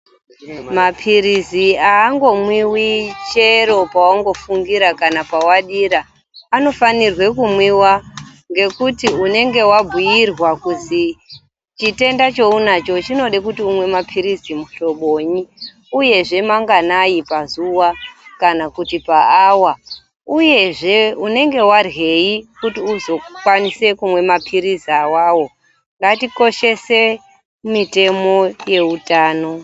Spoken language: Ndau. Mapilizi angomwiwi chero pawangofungira kana pawadira anofanirwe kumwiwa ngekuti unenge wabhuyirwa kuzi chitenda chaunacho chinode kuti umwe mapilizi muhlobonyi uyezve manganai pazuwa kana kuti paawa uyezve unenge waryeyi kuti uzokwanise kumwe mapilizi awawo ngatikoshese mitemo yeutano.